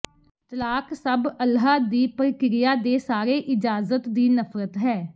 ਤਲਾਕ ਸਭ ਅੱਲ੍ਹਾ ਦੀ ਪ੍ਰਕਿਰਿਆ ਦੇ ਸਾਰੇ ਇਜਾਜ਼ਤ ਦੀ ਨਫ਼ਰਤ ਹੈ